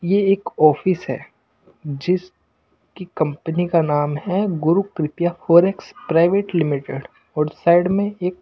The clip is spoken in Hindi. ये एक ऑफिस है जिस की कंपनी का नाम हैगुरु कृपया फॉरेक्स प्राइवेट लिमिटेड और साइड में एक--